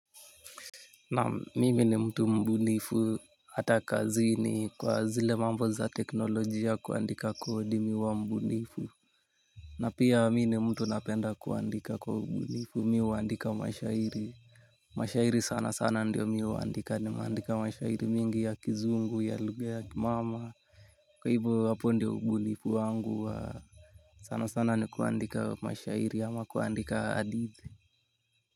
Naam, mimi ni mtu mbunifu hata kazini kwa zile mambo za teknolojia, kuandika coding huwa mbunifu. Na pia mimi ni mtu napenda kuandika kwa ubunifu, mi huwaandika mashairi. Mashairi sana sana ndiyo mi huandika nimeandika mashairi mingi ya kizungu ya lugha ya kimama. Kwa hivyohwapo ndiyo ubunifu wangu wa sana sana ni kuandika mashairi ama kuandika hadithi.